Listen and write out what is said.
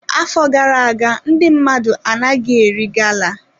Afọ gara aga ndị mmadụ anaghị eri gala.